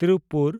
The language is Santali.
ᱛᱤᱨᱩᱯᱯᱩᱨ